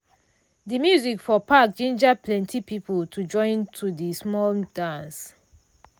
de music for park ginger plenti people to join to the small dance.